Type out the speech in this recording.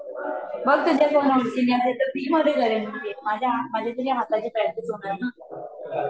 बघ तुझ्या मैत्रिणी असेल तर, फ्री मध्ये करेन मी माझ्या, माझ्या सुद्धा हाताची प्रॅक्टिस होणार न